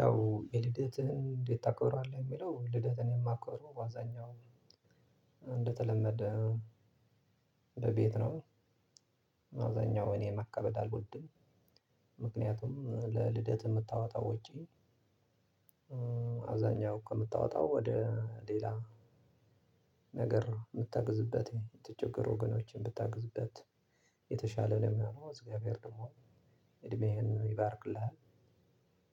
ያው የልደትህን እንዴት ታከብራለህ? የሚለው ልደት እኔ የማከብረው በአዛኛው እንደተለመደ በቤት ነው። በአዛኛው እኔ ማካበድ አልወድም። ምክንያቱም ለልደት የምታወጣው ውጪ። አብዛኛው ከምታወጣው ወደ ሌላ ነገር የምታግዝበት የተቸገሩ ወገኖችን ብታግዝበት የተሻለ ነው ሚሆነው እግዚአብሔር ደግሞ እድሜህን ይባርክልሃል።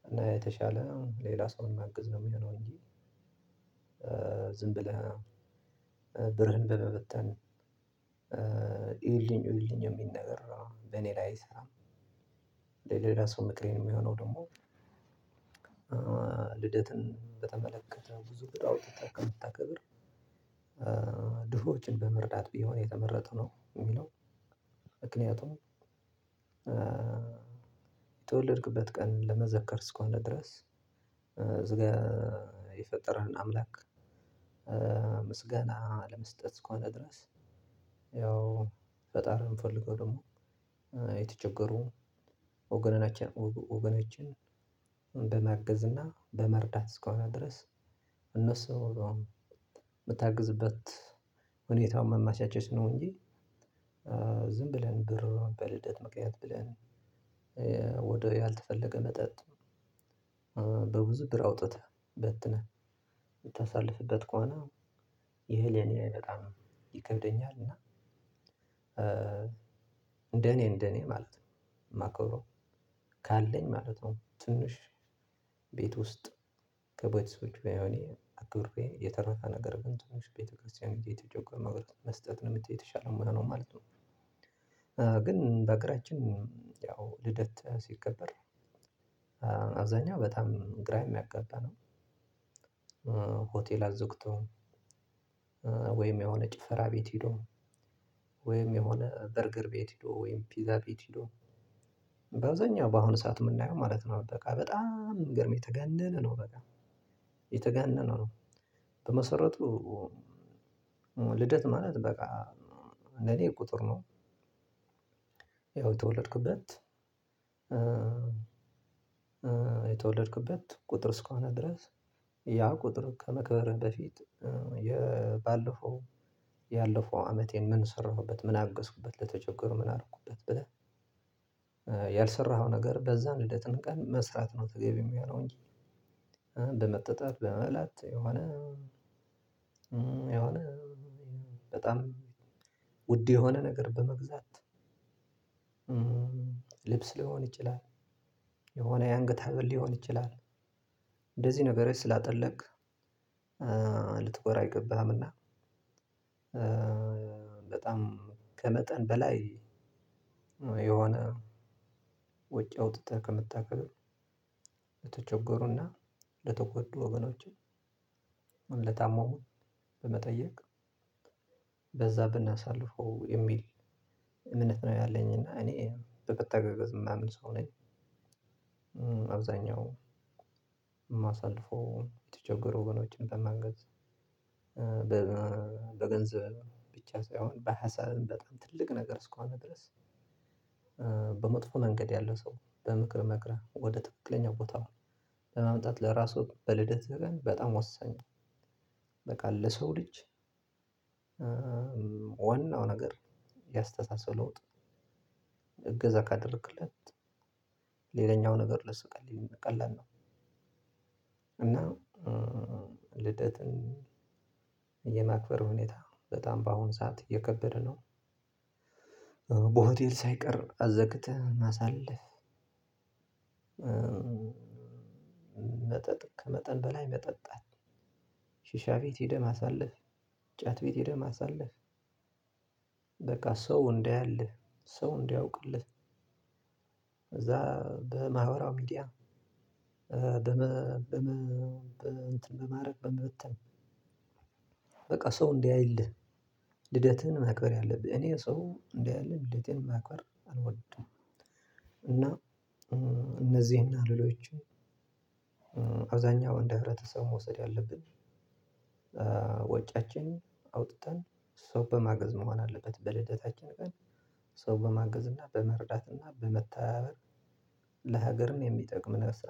እና የተሻለ ሌላ ሰውን ማግዝ ነው የሚሆነው እንጂ ዝም ብለህ ብርህን በመበተን እዩልኝ እዩልኝ የሚል ነገር ነው በኔ ላይ አይሰራም። ራሱ ምክሬን የሚሆነው ደግሞ ልደትን በተመለከተ ብዙ አውጥተህ ከምታከበር ድሆችን በመርዳት ቢሆን የተመረጠው ነው የሚለው። ምክንያቱም የተወለድክበት ቀን ለመዘከር እስከሆነ ድረስ እዚጋ የፈጠረህን አምላክ። ምስጋና ለመስጠት እስከሆነ ድረስ ያው ፈጣሪ የምፈልገው ደግሞ የተቸገሩ ወገኖችን በማገዝ እና በመርዳት እስከሆነ ድረስ እነሱ የምታግዝበት ሁኔታውን ማመቻቸት ነው እንጂ። ዝም ብለህ ብርን በልደት ምክንያት ብለን ወደ ያልተፈለገ መጠጥ በብዙ ብር አውጥተህ በትነህ የምታሳልፍበት ከሆነ ይሄ ለኔ በጣም ይከብደኛል። እና እንደ እኔ እንደ እኔ ማለት ነው የማከብረው ካለኝ ማለት ነው። ትንሽ ቤት ውስጥ ከቤተሰቦቼ ጋር ያውኔ አክብሬ የተረፈ ነገር ግን ትንሽ ቤተክርስቲያን ጊዜ የተጨቆመ መስጠት ነው የምትል የተሻለ ነው ማለት ነው። ግን በአገራችን ያው ልደት ሲቀበር አብዛኛው በጣም ግራ የሚያጋባ ነው። ሆቴል አዘግቶም ወይም የሆነ ጭፈራ ቤት ሄዶ ወይም የሆነ በርግር ቤት ሄዶ ወይም ፒዛ ቤት ሄዶ በአብዛኛው በአሁኑ ሰዓት የምናየው ማለት ነው በቃ በጣም ሚገርምህ የተጋነነ ነው በቃ የተጋነነ ነው። በመሰረቱ ልደት ማለት በቃ እንደኔ ቁጥር ነው። ያው የተወለድኩበት የተወለድኩበት ቁጥር እስከሆነ ድረስ ያ ቁጥር ከማክበርህ በፊት የባለፈው ያለፈው አመት ምን ሰራሁበት ምን አገዝኩበት ለተቸገሩ ምን አደረኩበት ብለህ። ያልሰራኸው ነገር በዛ ልደትን ቀን መስራት ነው ተገቢ የሚሆነው እንጂ። በመጠጣት በመብላት የሆነ የሆነ በጣም ውድ የሆነ ነገር በመግዛት። ልብስ ሊሆን ይችላል የሆነ ያንገት ሀብል ሊሆን ይችላል እንደዚህ ነገር ስላጠለቅክ ልትኮራ አይገባህምና። በጣም ከመጠን በላይ የሆነ ወጭ አውጥተህ ከምታከብር ለተቸጎሩና ለተጎዱ ወገኖችን በመጠየቅ በዛ ብናሳልፈው የሚል እምነት ነው ያለኝ እና እኔ በመተጋገዝ የማምን ሰው ነኝ። አብዛኛው ማሳልፈው የተቸገሩ ወገኖችን በማገዝ በገንዘብ ብቻ ሳይሆን በሀሳብም በጣም ትልቅ ነገር እስከሆነ ድረስ። በመጥፎ መንገድ ያለው ሰው በምክር መክረህ ወደ ትክክለኛ ቦታ ለማምጣት ለራሱ በልደትህ ቀን በጣም ወሳኝ። በቃ ለሰው ልጅ ዋናው ነገር ያስተሳሰብ ለውጥ እገዛ ካደረክለት ሌላኛው ነገር ለሱ ቀላል ቀላል ነው። እና ልደትን የማክበር ሁኔታ በጣም በአሁኑ ሰዓት እየከበደ ነው። በሆቴል ሳይቀር አዘግተህ ማሳለፍ። መጠጥ ከመጠን በላይ መጠጣት ሽሻ ቤት ሄደህ ማሳለፍ ጫት ቤት ሄደህ ማሳለፍ። በቃ ሰው እንዳያልህ ሰው እንዲያውቅልህ ከዛ በማህበራዊ ሚዲያ በመ በመ በመ እንትን በማድረግ በመበተን በቃ ሰው እንዲያይልህ ልደትህን ማክበር ያለብህ እኔ ሰው እንዲያይልኝ ልደቴን ማክበር አልወድም። እና እነዚህና ሌሎቹም አብዛኛው እንደ ህብረተሰቡ መውሰድ ያለብን ወጪያችን አውጥተን ሰው በማገዝ መሆን አለበት በልደታችን ቀን ሰው በማገዝ እና በመረዳት እና በመተባበር። ለሀገርም የሚጠቅም ነው